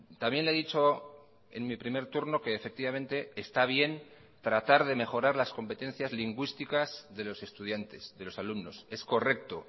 también le he dicho en mi primer turno que efectivamente está bien tratar de mejorar las competencias lingüísticas de los estudiantes de los alumnos es correcto